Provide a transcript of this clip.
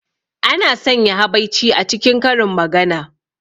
Ana sanya habaici a cikin karin magana.